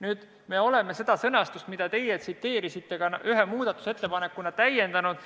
Nüüd, me oleme seda sõnastust, mida te tsiteerisite, ühe muudatusettepanekuga täiendanud.